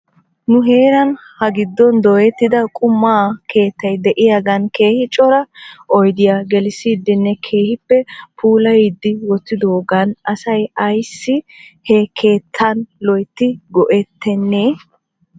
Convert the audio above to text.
Nu heeran hagiddon dooyettida quma keettay de'iyaagan keehi cora oydiyaa gelissidinne keehippe puulayidi wotidoogan asay ayssibhe keettan loyttidi go'ettenee ?